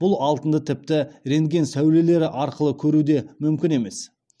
бұл алтынды тіпті рентген сәулелері арқылы көру де мүмкін емес